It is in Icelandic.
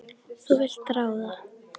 Þú vilt ráða.